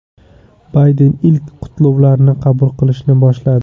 Bayden ilk qutlovlarni qabul qilishni boshladi.